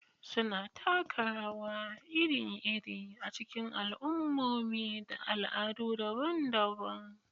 Suna taka rawa iri-iri a cikin al'ummomi da al'adu daban-daban.